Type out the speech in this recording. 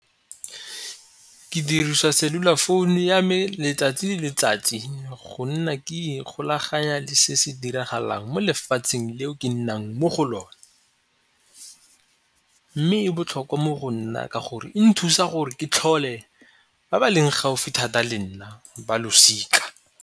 Ke dirisa cellular phone-u ya me letsatsi le letsatsi go nna ke ikgolaganya le se se diragalang mo lefatsheng leo ke nnang mo go lone, mme e botlhokwa mo go nna ka gore e nthusa gore ke tlhole ba ba leng gaufi thata le nna ba losika.